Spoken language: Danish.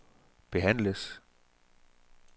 behandles